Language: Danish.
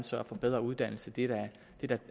sørge for bedre uddannelse det er da